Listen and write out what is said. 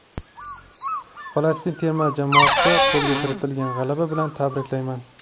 Falastin terma jamoasini qo‘lga kiritilgan g‘alaba bilan tabriklayman.